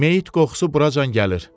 Meyit qoxusu buracan gəlir.